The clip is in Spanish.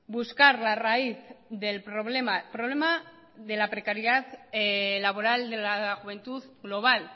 buscar la raíz del problema problema de la precariedad laboral de la juventud global